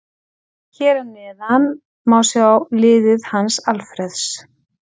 Hér að neðan má sjá liðið hans Alfreðs.